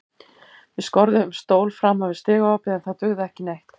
Við skorðuðum stól framan við stigaopið en það dugði ekki neitt.